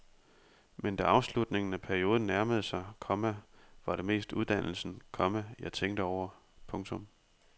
Men da afslutningen af perioden nærmede sig, komma var det mest uddannelsen, komma jeg tænkte over. punktum